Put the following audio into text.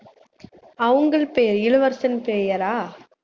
அவங்கள் பேர் இளவரசன் பெயரா